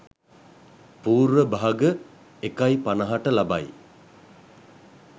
පූර්ව භාග 01.50 ට ලබයි.